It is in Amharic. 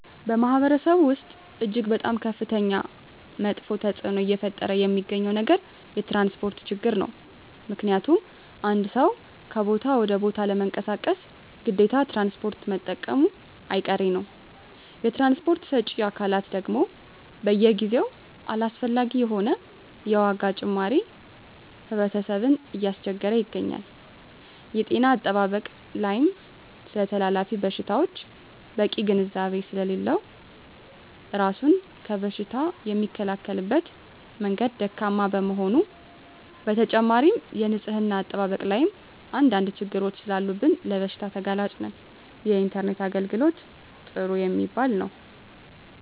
በማህበረሰቡ ወስጥ እጅግ በጣም ከፍተኛ መጥፌ ተፅዕኖ እየፈጠረ የሚገኘው ነገር የትራንስፖርት ችግር ነው ምክንያቱም አንድ ሰው ከቦታ ወደ ቦታ ለመንቀሳቀስ ግዴታ ትራንስፖርት መጠቀሙጨ አይቀሬ ነው የትራንስፖርት ሰጪ አካላት ደግም በየጊዜው አላስፈላጊ የሆነ የዋጋ ጭማሪ ህብረተሰብን እያስቸገረ ይገኛል። የጤና አጠባበቅ ላይም ስለተላላፊ በሽታወች በቂ ግንዛቤ ስሌለለው እራሱን ከበሽታ የሚከላከልበት መንገድ ደካማ በመሆኑ በተጨማሪም የንፅህና አጠባበቅ ላይም አንድ አንድ ችግሮች ሰላሉብን ለበሽታ ተጋላጭ ነን። የኢንተርኔት የአገልግሎት ጥሩ የሚባል የው።